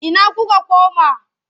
Ina kuka koma?